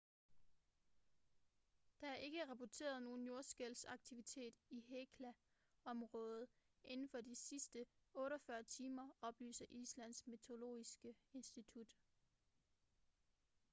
der er ikke rapporteret nogen jordskælvsaktivitet i hekla-området inden for de sidste 48 timer oplyser islands meteorologiske institut